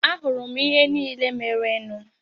Ahụrụ m ihe niile merenụ.